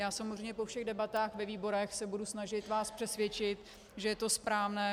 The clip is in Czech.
Já samozřejmě po všech debatách ve výborech se budu snažit vás přesvědčit, že je to správné.